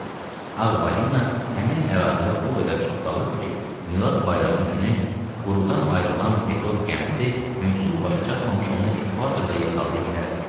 Ağ balina həmin ərazidə o qədər çox qalırdı ki, Milad bayramı günü qurudan ayrılan Pekod gəmisi mövsüm başa çatmamış onu ekvatorda yaxalaya bilərdi.